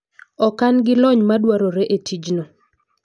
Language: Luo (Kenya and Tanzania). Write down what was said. Ok an gi lony madwarore e tijno.